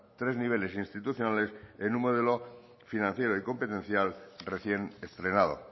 tres niveles institucionales en un modelo financiero y competencial recién estrenado